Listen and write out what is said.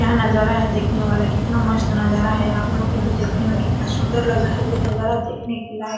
यह नजारा है देखने वाला कितना मस्त नजारा है आप लोग के भी देखने में कितना सुंदर लग रहा है ये नजारा देखने के लायक --